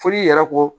Foli yɛrɛ ko